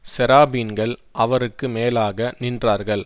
சேராபீன்கள் அவருக்கு மேலாக நின்றார்கள்